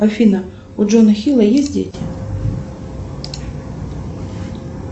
афина у джона хилла есть дети